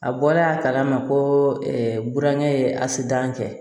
A bɔlen a kala ma ko burankɛ ye asidan kɛ